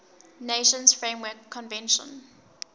nations framework convention